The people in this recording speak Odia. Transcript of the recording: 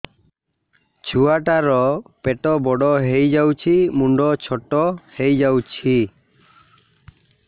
ଛୁଆ ଟା ର ପେଟ ବଡ ହେଇଯାଉଛି ମୁଣ୍ଡ ଛୋଟ ହେଇଯାଉଛି